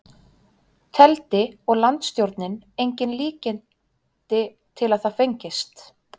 Teldi og landsstjórnin engin líkindi til að það fengist.